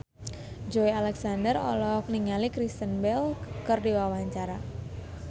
Joey Alexander olohok ningali Kristen Bell keur diwawancara